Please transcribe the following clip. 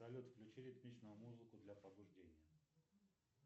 салют включи ритмичную музыку для пробуждения